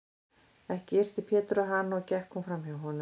Ekki yrti Pétur á hana og gekk hún fram hjá honum.